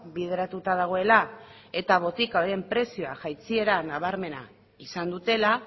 bideratuta dagoela eta botika horien prezioak jaitsiera nabarmena izan dutela